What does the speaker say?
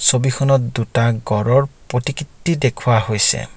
ছবিখনত দুটা গঁড়ৰ প্ৰতিকৃতি দেখুওৱা হৈছে।